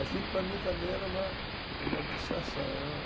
Aquilo, para mim, também era uma uma distração